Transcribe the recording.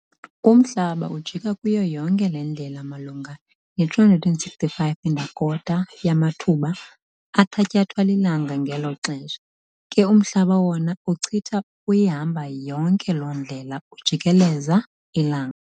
Umhlaba ujika kuyo yonke le ndlela malunga ne-365¼ yamathuba athatyathwa lilanga ngelo xesha ke uMhlaba wona uchitha uyihamba yonke loo ndlela ujikeleza ilanga.